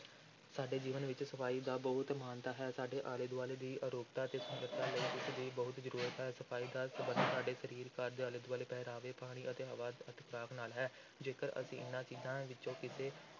ਸਾਡੇ ਜੀਵਨ ਵਿੱਚ ਸਫ਼ਾਈ ਦਾ ਬਹੁਤ ਮਹਾਨਤਾ ਹੈ, ਸਾਡੇ ਆਲੇ-ਦੁਆਲੇ ਦੀ ਅਰੋਗਤਾ ਤੇ ਸੁੰਦਰਤਾ ਲਈ ਇਸ ਦੀ ਬਹੁਤ ਜ਼ਰੂਰਤ ਹੈ, ਸਫ਼ਾਈ ਦਾ ਸੰਬੰਧ ਸਾਡੇ ਸਰੀਰ, ਘਰ ਦੇ ਆਲੇ-ਦੁਆਲੇ, ਪਹਿਰਾਵੇ, ਪਾਣੀ ਅਤੇ ਹਵਾ ਅਤੇ ਖ਼ੁਰਾਕ ਨਾਲ ਹੈ, ਜੇਕਰ ਅਸੀਂ ਇਨ੍ਹਾਂ ਚੀਜ਼ਾਂ ਵਿੱਚੋਂ ਕਿਸੇ